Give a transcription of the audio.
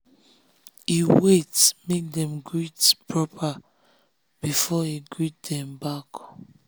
he wait make dem greet proper before he greet dem dem back.